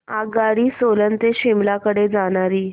आगगाडी सोलन ते शिमला कडे जाणारी